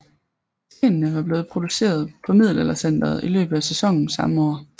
Stenene var blevet produceret på Middelaldercentret i løbet af sæsonen samme år